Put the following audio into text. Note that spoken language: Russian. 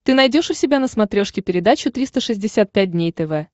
ты найдешь у себя на смотрешке передачу триста шестьдесят пять дней тв